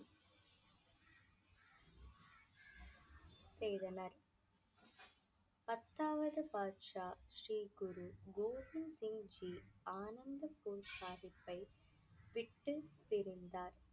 செய்தனர் பத்தாவது பாட்சா ஸ்ரீ குரு கோபிந்த் சிங் ஜி அனந்த்பூர் சாஹிப்பை விட்டு பிரிந்தார்